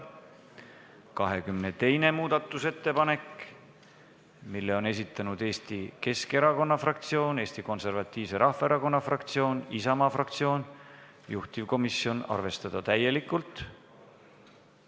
22. muudatusettepaneku on esitanud Eesti Keskerakonna fraktsioon, Eesti Konservatiivse Rahvaerakonna fraktsioon ja Isamaa fraktsioon, juhtivkomisjoni seisukoht: arvestada seda täielikult.